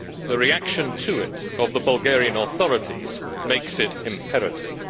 the reaction to it by the Bulgarian authorities makes it imperative.